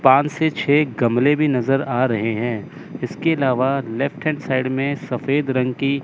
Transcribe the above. पांच से छे गमले भी नज़र आ रहे हैं। इसके लावा लेफ्ट हैंड साइड मे सफेद रंग की --